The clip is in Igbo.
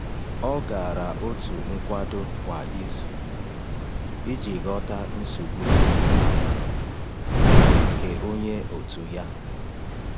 Ọ gara òtù nkwado kwa izu iji ghọta nsogbu riri ahụ nke onye òtù ya.